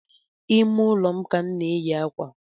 Ime ụlọ ka m na-enyi akwa